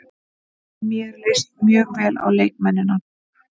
Mér leist mjög vel á leikmennina.